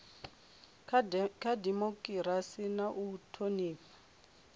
kha dimokirasi na u thonifha